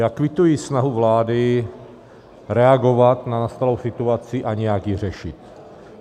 Já kvituji snahu vlády reagovat na nastalou situaci a nějak ji řešit.